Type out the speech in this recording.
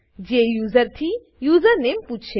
જે યુઝર થી યુઝરનેમ પૂછે